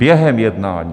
Během jednání!